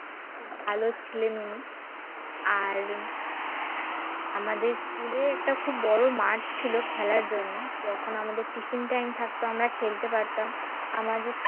খুব ভালো ছিলেন উনি আর আমাদের school এ একটা খুব বড় মাঠ ছিল খেলার জন্য যখন আমাদের tiffin time থাকতো আমরা খেলতে পারতাম আমাদের